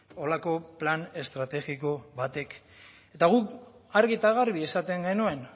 horrelako plan estrategiko batek eta guk argi eta garbi esaten genuen